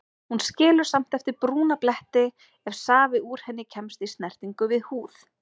Hún skilur samt eftir brúna bletti ef safi úr henni kemst í snertingu við húð.